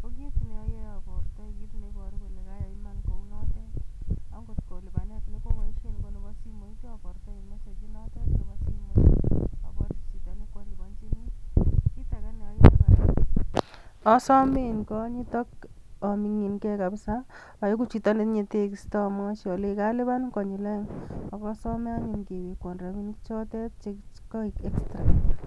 ko kit neoyoe abortoi kit neibooru kole kaayai Iman kounoton. Ak ngot kolipanet nekoliponi ko koboishien simoit abortion message inotet, aborchi chito nekooliponyini. Kitage kora neoyoe, asomi en konyiit ak amingin key kabisa, en chito nekoyokyii ak amwochi olenyiin kalipan konyiil oeng, ak asome anyun kewekwon rabisiek chotet